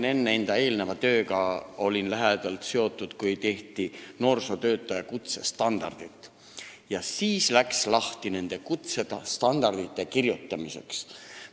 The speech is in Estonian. Ma olin nimelt enne seda oma eelneva töö tõttu olnud lähedalt seotud sellega, kui tehti noorsootöötaja kutsestandardit ja ma mäletan seda, kui läks lahti selle kirjutamiseks.